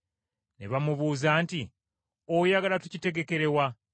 Ne bamubuuza nti, “Oyagala tukitegekere wa?”